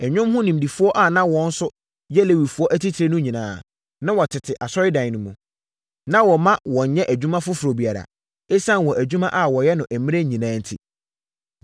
Nnwom ho nimdefoɔ a na wɔn nso yɛ Lewifoɔ atitire no nyinaa, na wɔtete Asɔredan no mu. Na wɔmma wɔnnyɛ adwuma foforɔ biara, ɛsiane wɔn adwuma a wɔyɛ no mmerɛ nyinaa enti.